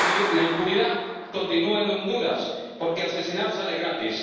La impunidad continúa en Honduras, porque asesinar sale gratis.